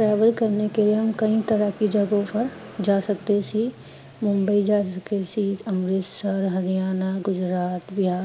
travel ਕਰਨੇ ਕੇ ਲਿਏ ਹਮ ਕਈ ਤਰ੍ਹਾੰ ਕੀ ਜਗ੍ਹਾ ਪਰ ਜਾ ਸਕਦੇ ਸੀ, ਮੁੰਬਈ ਜਾ ਸਕਦੇ ਸੀ, ਅਮਿ੍ਤਸਰ, ਹਰਿਆਣਾ, ਗੁਜਰਾਤ, ਬਿਹਾਰ